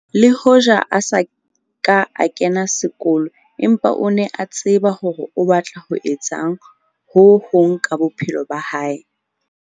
Le hoja a sa ka a kena sekolo empa o ne a tseba hore o batla ho etsa ho hong ka bophelo ba hae.